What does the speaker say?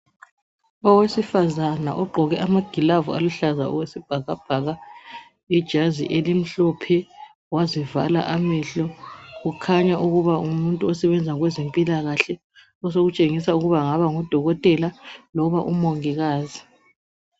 owesifazana ogqoke amagilavu aluhlaza okwesibhakabhaka ijazi elimhlophe wazivala amehlo kukhanya ukuba ngumuntu osebenza kwezempilakahle osokutshengisa ukuba angaba ngu dokotela loba umongikazi